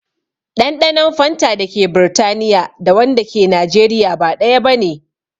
Ɗanɗanon fanta dake Britaniya da wanda ke Najeriya ba ɗaya bane